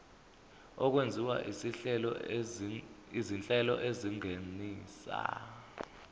okwenziwa izinhlelo ezingenisa